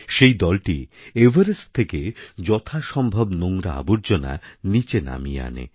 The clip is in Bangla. সেই দলটি এভারেস্ট থেকে যথাসম্ভব নোংরা আবর্জনা নীচে নামিয়ে আনে